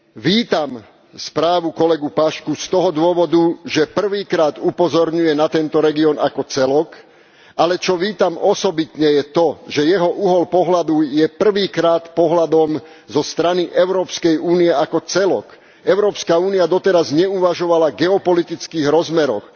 Vítam správu kolegu Paşcu z toho dôvodu, že prvýkrát upozorňuje na tento región ako celok, ale čo vítam osobitne, je to, že jeho uhol pohľadu je prvýkrát pohľadom zo strany Európskej únie ako celku. Európska únia doteraz neuvažovala v geopolitických rozmeroch.